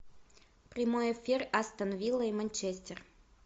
прямой эфир астон вилла и манчестер